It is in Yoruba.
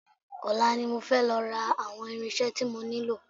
Ọ̀la ni mo fẹ́ lọ ra àwọn irinṣẹ́ tí mo nílò